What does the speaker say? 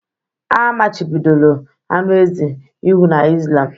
A machibidoro anụ ezi iwu na Islam